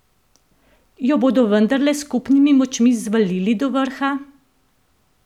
Jo bodo vendarle s skupnimi močmi zvalili do vrha?